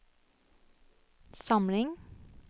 samling